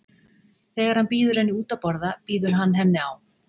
Þegar hann býður henni út að borða býður hann henni á